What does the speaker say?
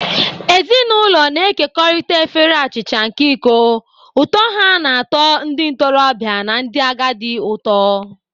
Ezinụlọ na-ekekọrịta efere achicha nke iko, ụtọ ha na-atọ ndị ntorobịa na ndị agadi ụtọ.